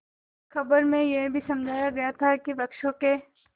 खबर में यह भी समझाया गया था कि वृक्षों के